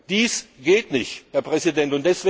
Dies geht nicht, Herr Präsident!